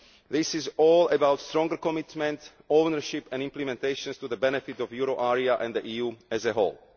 This is all about stronger commitment, ownership and implementation, to the benefit of the euro area and the EU as a whole.